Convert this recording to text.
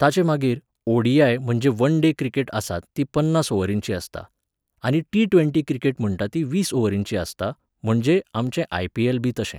ताचे मागीर ओ.डी.आय. म्हणजे वन डे क्रिकेट आसता ती पन्नास ओवरींची आसता. आनी टि ट्वेंटी क्रिकेट म्हणटा ती वीस ओवरींची आसता, म्हणजे आमचें आय.पी.एल.बी तशें